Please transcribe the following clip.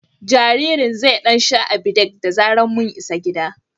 Jaririn zai ɗan sha Abidec da zarar mun isa gida.